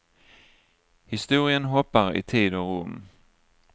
Historien hoppar i tid och rum.